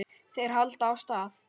Þeir halda af stað.